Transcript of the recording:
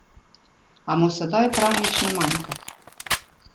A mu sedaj prav nič ne manjka.